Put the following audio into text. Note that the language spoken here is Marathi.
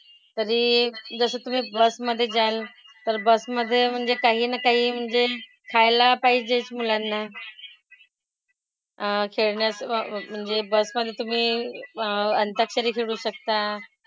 तरी जसं तुम्ही बसमधे जाल तर बसमधे काही ना काही म्हणजे खायला पाहिजेच मुलांना. अह खेळण्याचं वा म्हणजे बसमधे तुम्ही अह अंताक्षरी खेळू शकता.